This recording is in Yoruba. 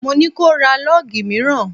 Mo ní ko ra lọ́gì mìíràn!